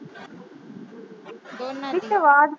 ਦੋਨਾਂ ਦੀ।